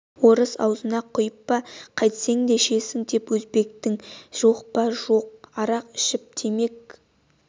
орыс аузына құйып па қайтсең де ішесің деп өзбекте жоқ па жоқ арақ ішіп темек